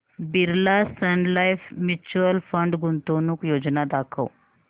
Birla sun life mutual fund गुंतवणूक योजना दाखव